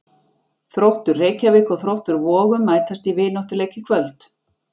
Þróttur Reykjavík og Þróttur Vogum mættust í vináttuleik í kvöld.